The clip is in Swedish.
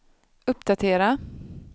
uppdatera